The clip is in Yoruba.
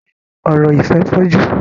Ọ̀rọ̀ ìfẹ́ fọ́jú.